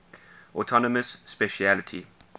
autonomous specialty